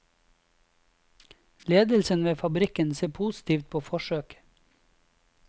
Ledelsen ved fabrikken ser positivt på forsøket.